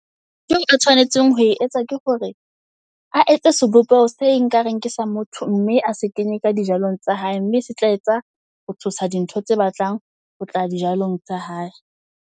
Ntho eo a tshwanetseng ho e etsa ke hore a etse sebopeho se nka re nke sa motho, mme a se kenye ka dijalong tsa hae. Mme se tla etsa ho tshosa di ntho tse batlang ho tla dijalong tsa hae.